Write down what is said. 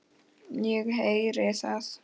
Ég heyri það.